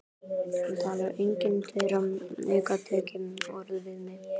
Það talar enginn þeirra aukatekið orð við mig.